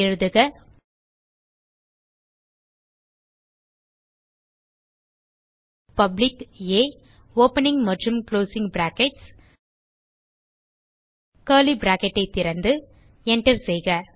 எழுதுக பப்ளிக் ஆ ஓப்பனிங் மற்றும் குளோசிங் பிராக்கெட்ஸ் கர்லி பிராக்கெட் ஐ திறந்து Enter செய்க